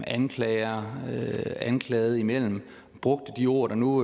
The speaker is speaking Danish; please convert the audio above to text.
anklager og anklaget imellem og brugte de ord der nu